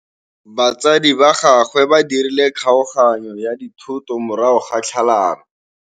Batsadi ba gagwe ba dirile kgaoganyô ya dithoto morago ga tlhalanô.